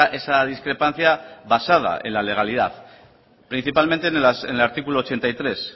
esa discrepancia basada en la legalidad principalmente en el artículo ochenta y tres